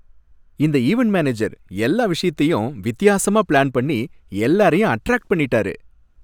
இந்த event manager எல்லா விஷயத்தையும் வித்தியாசமா பிளான் பண்ணி, எல்லாரையும் அட்ராக்ட் பண்ணிட்டாரு.